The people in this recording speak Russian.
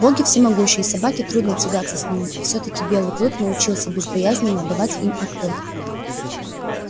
боги всемогущи и собаке трудно тягаться с ними и все таки белый клык научился безбоязненно давать им отпор